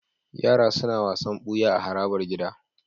Yara suna wasan buya a harabar gida